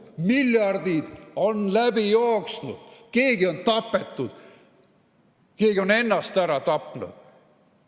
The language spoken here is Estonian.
Miljardid on läbi jooksnud, keegi on tapetud, keegi on ennast ära tapnud.